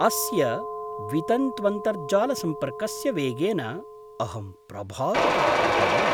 अस्य वितन्त्वन्तर्जालसम्पर्कस्य वेगेन अहं प्रभावितः अभवम्।